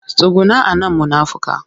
Tsuguna a nan munafika!